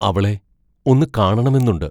അവളെ ഒന്നു കാണണമെന്നുണ്ട്.